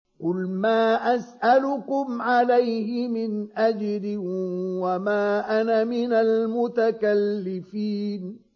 قُلْ مَا أَسْأَلُكُمْ عَلَيْهِ مِنْ أَجْرٍ وَمَا أَنَا مِنَ الْمُتَكَلِّفِينَ